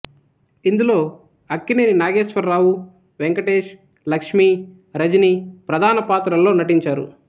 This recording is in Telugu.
ఇందులో అక్కినేని నాగేశ్వరరావు వెంకటేష్ లక్ష్మి రజని ప్రధాన పాత్రల్లో నటించారు